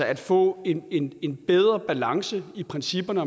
at få en en bedre balance i principperne